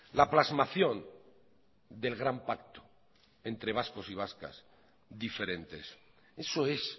la plasmación del gran pacto entre vascos y vascas diferentes eso es